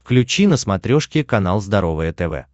включи на смотрешке канал здоровое тв